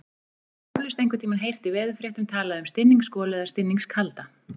Þú hefur eflaust einhvern tímann heyrt í veðurfréttum talað um stinningsgolu eða stinningskalda.